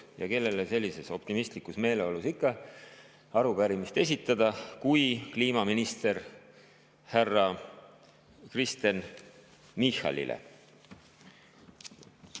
Ja kellele sellises optimistlikus meeleolus ikka arupärimist esitada kui mitte kliimaminister härra Kristen Michalile.